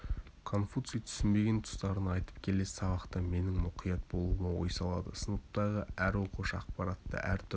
конфуций түсінбеген тұстарын айтып келесі сабақта менің мұқият болуыма ой салады сыныптағы әр оқушы ақпаратты әртүрлі